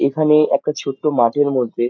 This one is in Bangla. এখানে একটা ছোট্ট মাঠের মধ্যে--